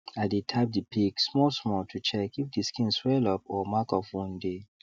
i dey tap the pigs small small to check if the skin swell up or mark of wound dey